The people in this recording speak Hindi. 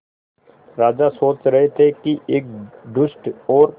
राजा सोच रहे थे कि एक दुष्ट और